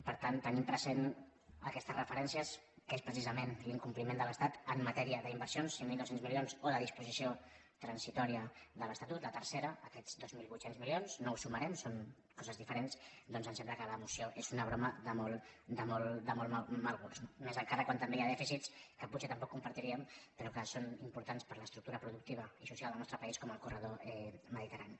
per tant tenint presents aquestes referències que són precisament l’incompliment de l’estat en matèria d’inversions cinc mil dos cents milions o de disposició transitòria de l’estatut la tercera aquests dos mil vuit cents milions no ho sumarem són coses diferents doncs ens sembla que la moció és una broma de molt mal gust no més encara quan també hi ha dèficits que potser tampoc compartiríem però que són importants per a l’estructura productiva i social del nostre país com el corredor mediterrani